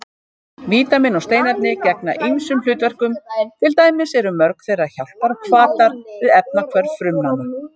Vítamín og steinefni gegna ýmsum hlutverkum, til dæmis eru mörg þeirra hjálparhvatar við efnahvörf frumnanna.